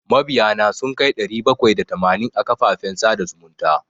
Mabiya na sun kai ɗari bakwai da tamanin a kafafen sada zumunta.